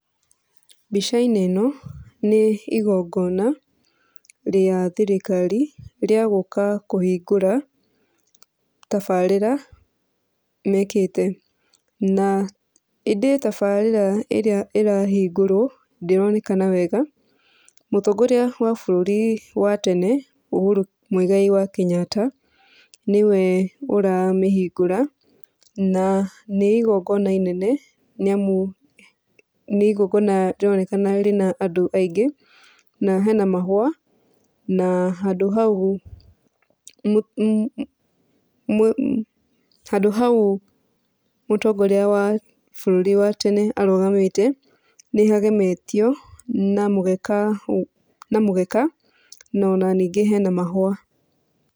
Mbica-inĩ ĩno nĩ igongona rĩa thirikari, rĩa gũka kũhingũra tabarĩra mekĩte. Na ĩndĩ tabarĩra ĩrĩa ĩrahingũrwo ndĩronekana wega. Mũtongoria wa bũrũri wa tene Uhuru Mũigai wa Kenyatta, nĩwe ũramĩhingũra na nĩ igongona inene nĩamu nĩ igongona rĩronekana rĩna andũ aingĩ. Na hena mahũa na handũ hau handũ hau mũtongoria wa bũrũri wa tene arũgamĩte nĩhagemetio na mũgeka na mũgeka na ona ningĩ hena mahũa.